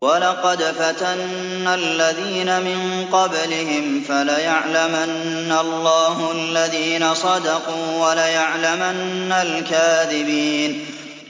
وَلَقَدْ فَتَنَّا الَّذِينَ مِن قَبْلِهِمْ ۖ فَلَيَعْلَمَنَّ اللَّهُ الَّذِينَ صَدَقُوا وَلَيَعْلَمَنَّ الْكَاذِبِينَ